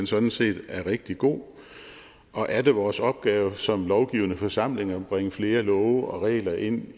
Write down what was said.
sådan set er rigtig god og er det vores opgave som lovgivende forsamling at bringe flere love og regler ind